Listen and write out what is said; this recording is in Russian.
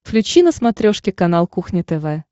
включи на смотрешке канал кухня тв